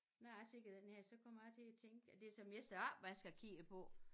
Nå jeg ser på den her så kommer jeg til at tænke at det som jeg står opvask og kigget på